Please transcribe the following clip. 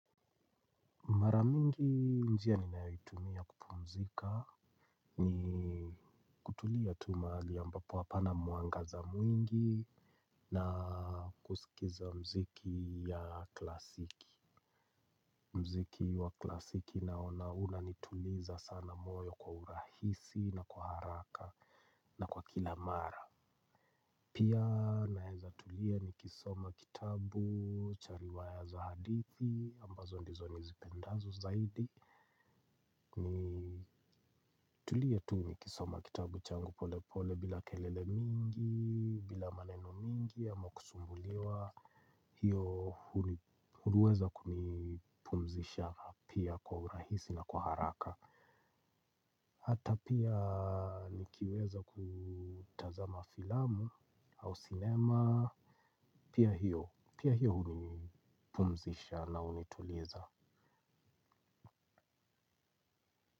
Maramingi njia ninayoitumia kupumzika ni, kutulia tu mahali ambapo hapana mwangaza mwingi na kusikiza muziki ya klasiki. Mziki wa klasiki naona unanituliza sana moyo kwa urahisi na kwa haraka na kwa kila mara. Pia naeza tulia nikisoma kitabu, cha riwaya za hadithi ambazo ndizo nizipendazo zaidi. Nitulie tu nikisoma kitabu changu pole pole bila kelele mingi, bila maneno mingi ama kusumbuliwa. Hiyo huweza kunipumzisha pia kwa urahisi na kwa haraka. Hata pia nikiweza kutazama filamu au sinema pia, pia hiyo hunipumzisha na hunituliza.